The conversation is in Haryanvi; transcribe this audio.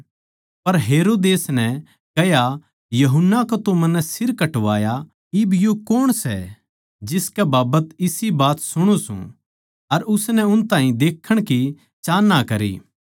पर हेरोदेस नै कह्या यूहन्ना का तो मन्नै सिर कटवाया इब यो कौण सै जिसकै बाबत इसी बात सुणु सूं अर उसनै उस ताहीं देखण की चाहन्ना करी